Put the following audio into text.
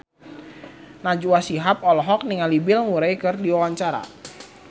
Najwa Shihab olohok ningali Bill Murray keur diwawancara